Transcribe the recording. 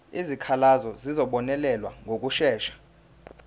izikhalazo zizobonelelwa ngokushesha